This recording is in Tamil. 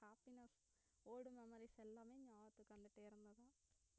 happiness old memories எல்லாமே நியாபகத்துக்கு வந்துட்டே இருந்தது